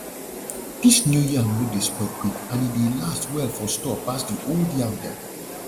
dis new yam no dey spoil quick and e dey last well for store pass the old yam dem